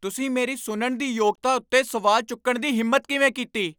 ਤੁਸੀਂ ਮੇਰੀ ਸੁਣਨ ਦੀ ਯੋਗਤਾ ਉੱਤੇ ਸਵਾਲ ਚੁੱਕਣ ਦੀ ਹਿੰਮਤ ਕਿਵੇਂ ਕੀਤੀ?